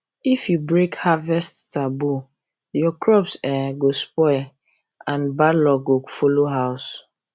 if you break harvest taboo your crops go um spoil and bad luck go follow house